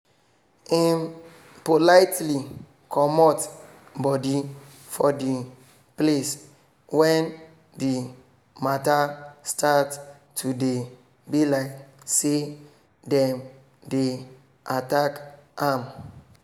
im politely comot body for the place when the mata start to dey be like say dem dey attack am